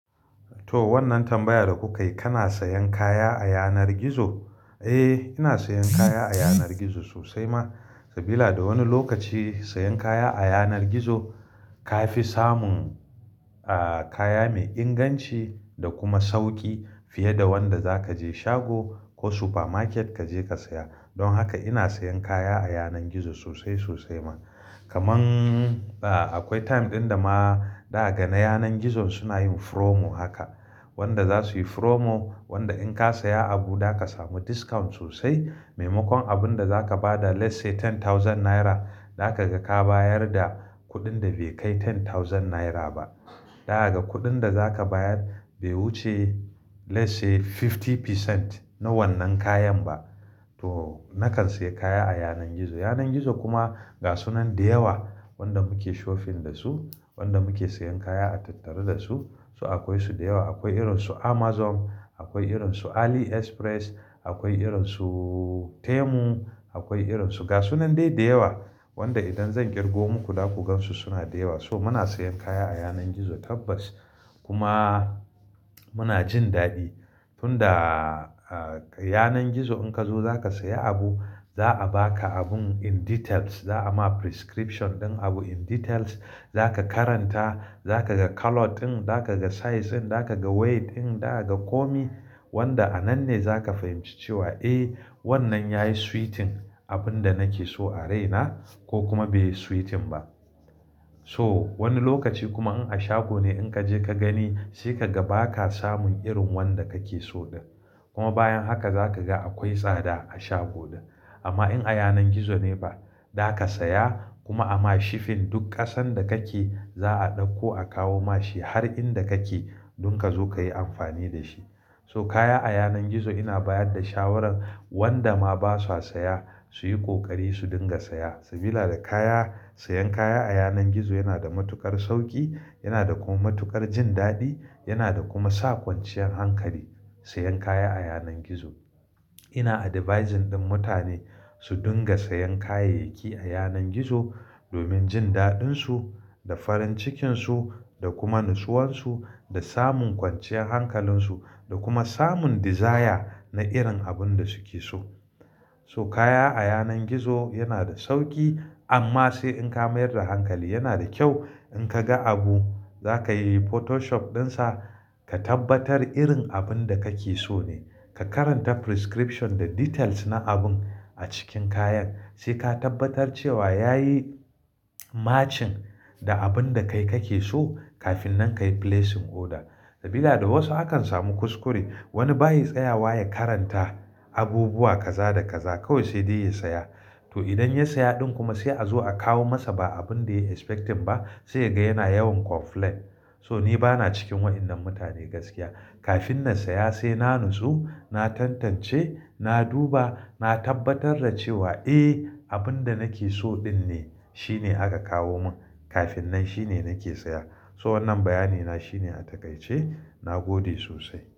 To wannan tambayar da kuka yi, kana sayan kaya a yanar gizo? Eh ina sayan kaya a yanar gizo sosai ma, sabila da wani lokaci sayan kaya a yanar gizo ka fi samun ah kaya mai inganci da kuma sauƙi fiye da wanda za ka je shago ko super market ka je ka saya. Don haka ina sayan kaya a yanar gizo sosai sosai ma. Kaman ah akwai time ɗin da ma za kaga na yanar gizon suna yin promo haka. Wanda za su yi promo, wanda in ka saya abu za ka samu discount sosai. Maimakon abun da za ka ba da lets say ten thousand naira, za ka ga ka bayar da kuɗin da bai kai ten thousand naira ba. Za kaga kuɗin da za ka bayar bai wuce lets say fifty percent na wannan kayan ba. Toh! Na kan sayi kaya a yanar gizo. Yanar gizo kuma gasu nan da yawa wanda muke shopping da su, wanda mu ke sayan kaya a tattare da su. So akwai su da yawa, akwai irin su Amazon, akwai irin su AliExpress, akwai irin su Temu, akwai irin su gasu nan dai da yawa. Wanda idan zan ƙirgo muku za ku gan su suna da yawa. So muna sayan kaya a yanar gizo tabbas. Kuma mu na jin daɗi. Tunda a yanar gizo in ka zo za ka saya abu, za a baka abun in details, za a ma prescription ɗin abun in details. Za ka karanta, za ka ga color ɗin, za ka ga size ɗin, za ka ga weight ɗin, za ka ga komai wanda a nan ne za ka fahimci cewa, eh wannan yayi suiting abun da nake so a raina ko kuma bai suiting ba. So wani lokaci kuma in a shago ne in ka je ka gani sai ka ga ba ka samun irin wanda ka ke so ɗin. Kuma bayan haka za ka ga akwai tsada a shago ɗin. Amma in a yanar gizo ne ba, za ka saya kuma ama shipping duk ƙasan da ka ke za a ɗauko a kawo ma shi har inda ka ke don ka zo ka yi amfani da shi. So kaya a yanar gizo ina bayar da shawarar wanda ma baswa saya, su yi ƙoƙari su dinga saya. Sabila da kaya, sayan kaya a yanar gizo yana da matuƙar sauƙi, yana da kuma matuƙar jin daɗi, yana da kuma sa kwanciyar hankali sayan kaya a yanar gizo. Ina advising ɗin mutane su dinga sayan kayayyaki a yanar gizo domin jin daɗinsu, da farin cikinsu, da kuma nusuwansu, da samun kwanciyar hankalinsu, da kuma samun desire na irin abin da suke so. To kaya a yanar gizo yana da sauƙi amma se in ka mayar da hankali Yana da kyau in kaga abu, za ka yi photoshot ɗin sa ka tabbatar irin abinda kake so ne Ka karanta prescription da details na abun a cikin kayan, sai ka tabbatar cewa yayi Matching da abinda kai kake so kafin nan ka yi placing order, sabila da wasu a kan samu kuskure, wani ba ya tsayawa ya karanta abubuwa kaza da kaza, kawai se de ya saya To idan ya saya ɗin kuma sai a zo a kawo masa ba abun da ya expecting ba, sai ya ga yana yawan complain. So ni bana cikin waɗannan mutane gaskiya. Kafin na saya sai na nutsu, na tantance, na duba, na tabbatar da cewa eh abin da nake so ɗin ne shine aka kawo mun kafin nan shine nake saya. So wannan bayani na shine a takaice, na gode sosai.